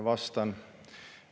Vastan.